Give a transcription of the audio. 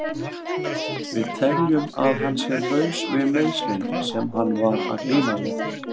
Við teljum að hann sé laus við meiðslin sem hann var að glíma við.